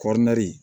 Kɔriri